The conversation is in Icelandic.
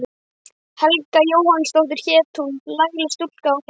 Helga Jóhannsdóttir hét hún, lagleg stúlka og glaðleg.